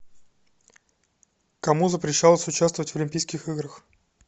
кому запрещалось участвовать в олимпийских играх